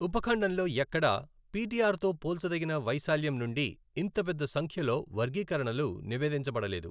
ఉపఖండంలో ఎక్కడా, పిటిఆర్ తో పోల్చదగిన వైశాల్యం నుండి ఇంత పెద్ద సంఖ్యలో వర్గీకరణలు నివేదించబడలేదు.